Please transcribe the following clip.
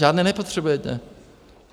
Žádné nepotřebujete.